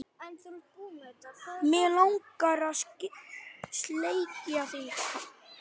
Mig langar að sleikja þig.